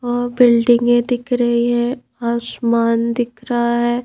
और बिल्डिंगें दिख रही है आसमान दिख रहा है।